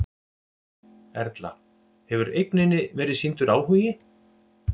Erla: Hefur eigninni verið sýndur áhugi?